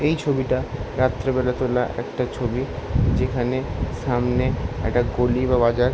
এই ছবিটা রাত্রেবেলা তোলা একটা ছবি যেখানে সামনে একটা গলি বা বাজার--